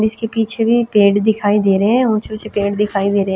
इसके पीछे भी पेड़ दिखाई दे रहे हैं ऊंचे ऊंचे पेड़ दिखाई दे रहे हैं।